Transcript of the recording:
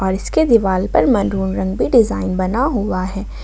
इसके दिवाल पर मनरून रंग भी डिजाइन बना हुआ है।